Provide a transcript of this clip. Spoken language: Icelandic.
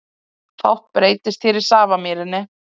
Fátt breytist hér í Safamýrinni